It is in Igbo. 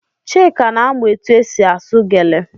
Chika na-amụ etụ esị asụ gele.